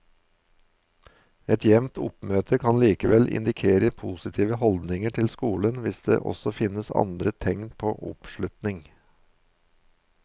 Et jevnt oppmøte kan likevel indikere positive holdninger til skolen hvis det også finnes andre tegn på oppslutning.